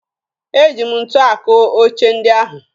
Eji m ntu akụ oche ndị ahụ